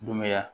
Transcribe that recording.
Dunbaya